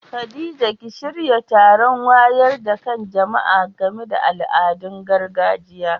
Khadija ki shirya taron wayar da kan jama'a game da al'adun gargajiya.